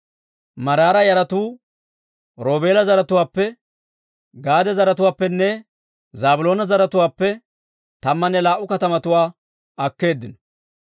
Maraara yaratuu Roobeela zaratuwaappe, Gaade zaratuwaappenne Zaabiloona zaratuwaappe tammanne laa"u katamatuwaa akkeeddino.